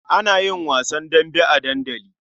Ana yin wasan dambe a dandali.